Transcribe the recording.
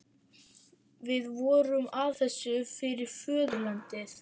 Við vorum að þessu fyrir föðurlandið.